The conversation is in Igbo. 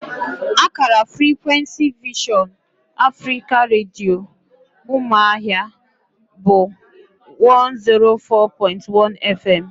Akara frikwensi Vision Africa Redio, Ụmụahịa bụ 104.1 fm